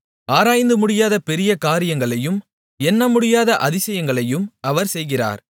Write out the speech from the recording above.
ஆராய்ந்து முடியாத பெரிய காரியங்களையும் எண்ணமுடியாத அதிசயங்களையும் அவர் செய்கிறார்